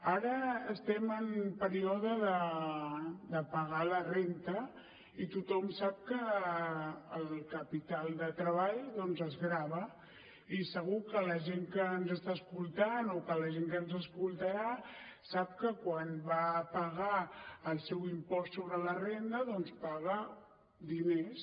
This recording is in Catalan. ara estem en període de pagar la renda i tothom sap que el capital de treball doncs es grava i segur que la gent que ens està escoltant o que la gent que ens escoltarà sap que quan va a pagar el seu impost sobre la renda paga diners